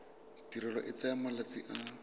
tirelo e tsaya malatsi a